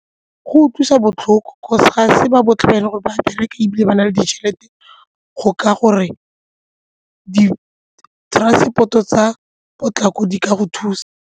Go utlwisa botlhoko 'cause ga se ba botlhe wena gore ba bereka ebile ba na le ditšhelete go ka gore di-transport-o tsa potlako di ka go thusa.